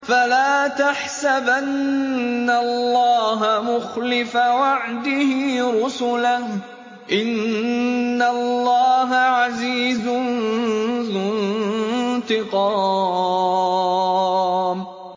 فَلَا تَحْسَبَنَّ اللَّهَ مُخْلِفَ وَعْدِهِ رُسُلَهُ ۗ إِنَّ اللَّهَ عَزِيزٌ ذُو انتِقَامٍ